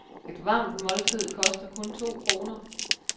Et varmt måltid koster kun to kroner.